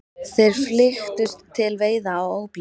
Þeir flykktust til veiða á óblíðum